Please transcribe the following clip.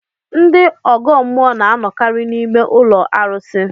Ndị ọgọ mmụọ na anọkarị n'ime ụlọ arụsi